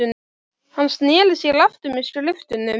Hann sneri sér aftur að skriftunum.